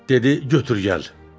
Dedi götür gəl.